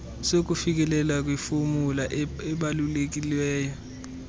sokufikeleleka kwifomu ebaluliweyo